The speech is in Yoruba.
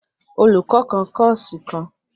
Olùkọ kan kòsí kàn ni